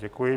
Děkuji.